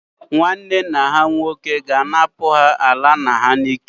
Nwanne nna ha nwoke ga-anapụ ha ala nna ha n'ike.